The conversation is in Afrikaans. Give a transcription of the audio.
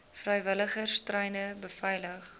vrywilligers treine beveilig